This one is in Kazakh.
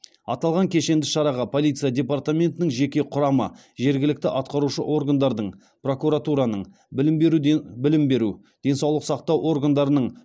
аталған кешенді шараға полиция департаментінің жеке құрамы жергілікті атқарушы органдардың прокуратураның білім беру денсаулық сақтау органдарының